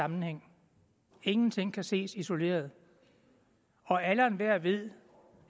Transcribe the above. sammenhæng ingenting kan ses isoleret og alle og enhver ved